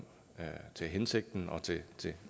til hensigten og til